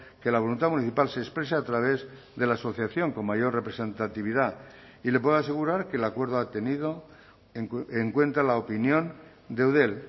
que la voluntad municipal se exprese a través de la asociación con mayor representatividad y le puedo asegurar que el acuerdo ha tenido en cuenta la opinión de eudel